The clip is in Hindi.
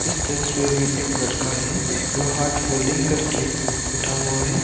तस्वीर में एक लड़का है जो हाथ फोल्डिंग करके उठा हुआ है।